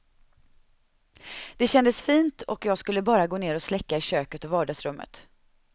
Det kändes fint och jag skulle bara gå ner och släcka i köket och vardagsrummet.